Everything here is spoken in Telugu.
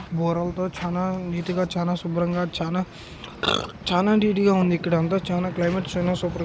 బూరలతో చానా నీటుగా చానా చానా నీటుగా చానా శుభ్రంగా చానా నీటుగా ఇక్కడ అంత ఇక్కడ క్లైమేట్ సూపర్--